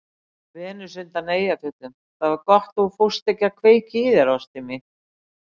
Venus undan Eyjafjöllum:- Það var gott þú fórst ekki að kveikja í þér ástin mín.